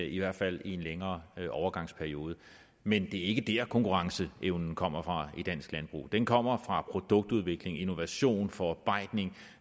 i hvert fald i en længere overgangsperiode men det er ikke dér konkurrenceevnen kommer fra i dansk landbrug den kommer fra produktudvikling innovation forarbejdning